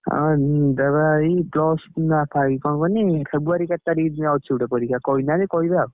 ଆଁ ଦେବି ବା ଏଇ plus କଣ କହନି February କେତେ ତାରିଖ୍ ଅଛି ଗୋଟେ ପରୀକ୍ଷା କହିନାହାନ୍ତି କହିବେ ଆଉ।